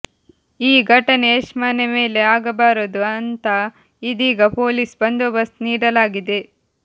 ಈ ಘಟನೆ ಯಶ್ ಮನೆ ಮೇಲೆ ಆಗಬಾರದು ಅಂತಾ ಇದೀಗ ಪೊಲೀಸ್ ಬಂದೋಬಸ್ತ್ ನೀಡಲಾಗಿದೆ